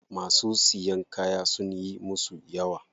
Masu siyan kaya sunyi musu yawa.